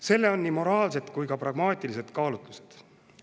Sellel on nii moraalsed kui ka pragmaatilised kaalutlused.